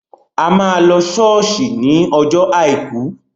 A má lọ ṣọ́ọ̀ṣì ní ọjọ́ àìkú